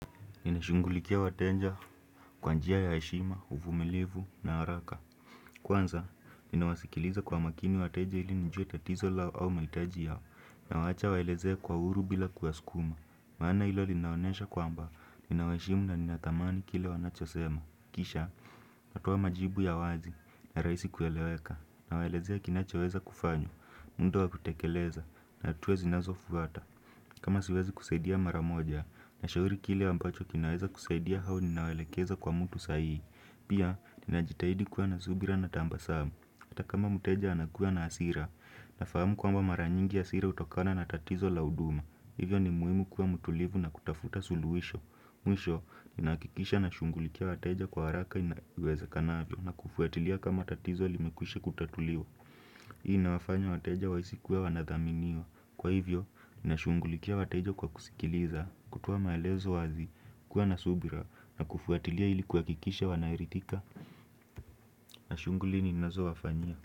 Inashungulikia wateja kwa njia ya heshima, uvumilivu na haraka Kwanza, inawasikiliza kwa makini watenja ili njue tatizo lao au malitaji yao na wacha waelezea kwa uru bila kuwaskuma maana ilo linaonesha kwa mba, inawashimu na ninatamani kile wanachosema Kisha, natuwa majibu ya wazi na raisi kueleweka na waelezea kinacho weza kufanyo, mundo wa kutekeleza na tuwe zinazo fuata kama siwezi kuseidia maramoja, na shauri kile ambacho kinaweza kuseidia hao ninawelekeza kwa mtu saihi Pia, ninajitahidi kuwa na zubira na tamba saamu Ata kama muteja anakuwa na asira, nafahamu kwa mba maranyingi asira utokana na tatizo lauduma Hivyo ni muhimu kuwa mutulivu na kutafuta suluhisho Mwisho, ninaakikisha na shungulikia wateja kwa haraka inaweza kanavyo na kufuatilia kama tatizo limekwishi kutatuliu Hii na wafanya wateja waisi kuwa wanadhaminiwa Kwa hivyo, na shungulikia watejo kwa kusikiliza, kutuwa maelezo wazi, kuwa nasubira, na kufuatilia ilikuwa kikisha wanairitika, na shungulini nazo wafanyia.